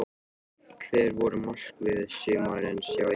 Hver voru markmið sumarsins hjá ykkur?